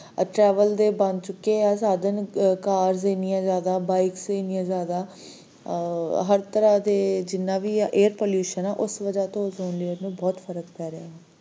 travel ਦੇ ਬਣ ਚੁਕੇ ਏ ਸਾਧਾਂ cars ਇੰਨੀਆਂ ਜ਼ਯਾਦਾ bikes, ਇੰਨੀਆਂ ਜ਼ਯਾਦਾ, ਹਰ ਤਰ੍ਹਾਂ ਦੇ ਜਿਨ੍ਹਾਂ ਵੀ ਇਹ ਆ Air pollution ਉਸ ਵਜਹ ਤੋਂ ozone layer ਤੇ ਬਹੁਤ ਫਰਕ ਪੈ ਰਿਹਾ